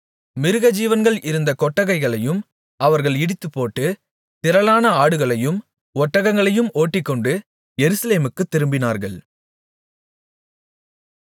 மிருகஜீவன்கள் இருந்த கொட்டகைகளையும் அவர்கள் இடித்துப்போட்டு திரளான ஆடுகளையும் ஒட்டகங்களையும் ஓட்டிக்கொண்டு எருசலேமுக்குத் திரும்பினார்கள்